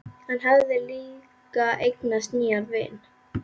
Hann hafði líka eignast nýjan vin.